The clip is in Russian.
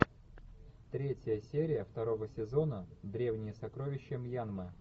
третья серия второго сезона древние сокровища мьянмы